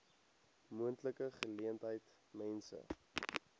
moontlike geleentheid mense